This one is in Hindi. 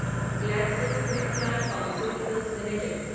GlaxoSmithKline pharmaceuticals limited